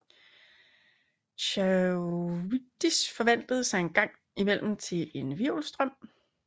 Charybdis forvandlede sig en gang imellem til en hvirvelstrøm